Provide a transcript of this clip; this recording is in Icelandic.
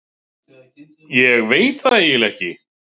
Ég veit það eiginlega ekki.